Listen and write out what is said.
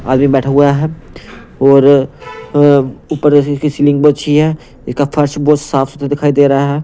आदमी बैठा हुआ है और अ ऊपर इसकी सीलिंग बहुत अच्छी है इसका फर्श बहुत साफ सुथरा दिखाई दे रहा है।